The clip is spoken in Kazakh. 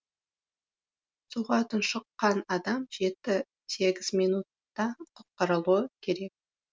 суға тұншыққан адам жеті сегіз минутта құтқарылуы керек